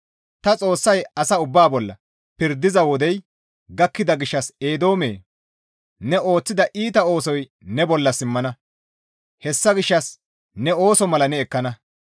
«Ta Xoossay asa ubbaa bolla pirdiza wodey gakkida gishshas Eedoomee! Ne ooththida iita oosoy ne bolla simmana; hessa gishshas ne ooso mala ne ekkana.